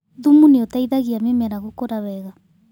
Thumu nĩũteithagia mĩmera gũkũra wega